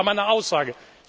Das war meine Aussage.